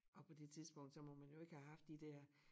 Og på det tidspunkt så må man jo ikke have haft de dér